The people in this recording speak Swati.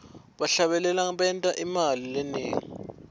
bahlabeleli benta imali lenengi